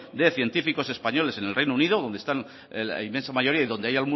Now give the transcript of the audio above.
de científicos españoles en el reino unido donde están la inmensa mayoría y donde hay